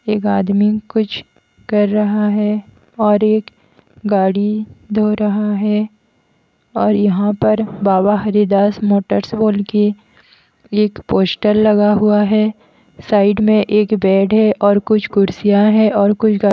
एक आदमी कुछ कर रहा है और एक गाड़ी धो रहा है और यहाँ पर बाबा हरिदास मोटर्स बोल के एक पोस्टर लगा हुआ है साइड में एक बेड है और कुछ कुर्सियां है और कुछ--